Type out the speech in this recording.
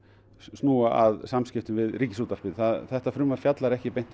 snúa að samskiptum við Ríkisútvarpið þetta frumvarp fjallar ekki